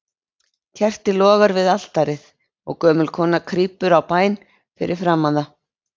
Kerti logar við altarið, og gömul kona krýpur á bæn fyrir framan það.